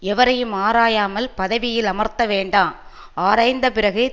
எவரையும் ஆராயாமல் பதவியில் அமர்த்த வேண்டா ஆராய்ந்த பிறகு